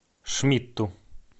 шмидту